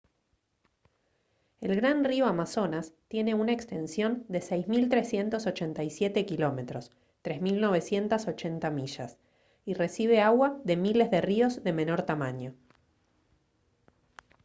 el gran río amazonas tiene una extensión de 6387 km 3980 millas y recibe agua de miles de ríos de menor tamaño